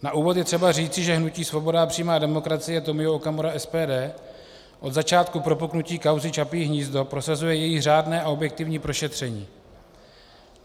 Na úvod je třeba říct, že hnutí Svoboda a přímá demokracie Tomio Okamura - SPD od začátku propuknutí kauzy Čapí hnízdo prosazuje její řádné a objektivní prošetření.